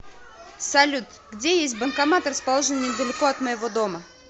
салют где есть банкомат расположенный недалеко от моего дома